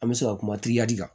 An bɛ se ka kuma kan